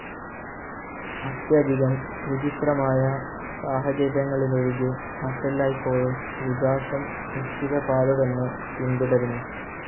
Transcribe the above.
അത്യധികം വിചിത്രമായ സാഹചര്യങ്ങളിലൊഴികെ, മറ്റെല്ലായ്പ്പോഴും വികാസം നിശ്ചിത പാത തന്നെ പിന്തുടരുന്നു.